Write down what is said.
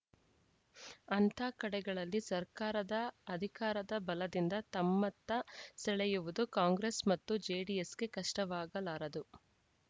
ಅಂಥ ಕಡೆಗಳಲ್ಲಿ ಸರ್ಕಾರದ ಅಧಿಕಾರದ ಬಲದಿಂದ ತಮ್ಮತ್ತ ಸೆಳೆಯುವುದು ಕಾಂಗ್ರೆಸ್‌ ಮತ್ತು ಜೆಡಿಎಸ್‌ಗೆ ಕಷ್ಟವಾಗಲಾರದು